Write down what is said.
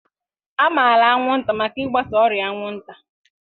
A maara anwụnta maka ịgbasa ọrịa anwụnta.